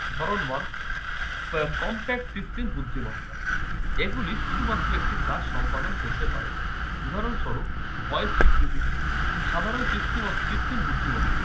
ধরন one compact কৃত্রিম বুদ্ধিমত্তা। এগুলি শুধুমাত্র একটি কাজ সম্পাদন করতে পারে। উদাহরণস্বরূপ voice স্বীকৃতি। সাধারণ কৃত্রিম~ কৃত্রিম বুদ্ধিমত্তা